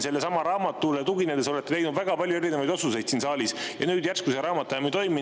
Sellelesamale raamatule tuginedes olete te teinud väga palju erinevaid otsuseid siin saalis, ja nüüd järsku see raamat enam ei toimi.